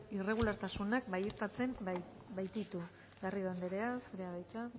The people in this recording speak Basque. irregulartasunak baieztatzen baititu garrido anderea zurea da hitza